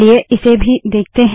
चलिए इसे भी देखते है